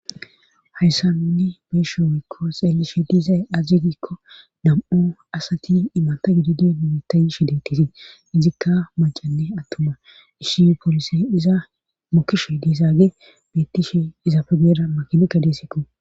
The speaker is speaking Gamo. hayssa nunni besho wiikko xeellishe diizay azazigiikko nam' asati imata gididi numitayshe dettisii izikka macanne attuma ishi polisi iza mokisho diizaage bettishe izapegeeda makinikka deesekko